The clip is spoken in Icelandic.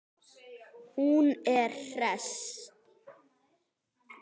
Hún er hress.